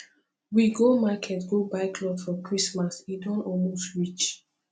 we go market go buy cloth for christmas e don almost reach